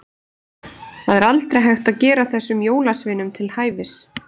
Það er aldrei hægt að gera þessum jólasveinum til hæfis.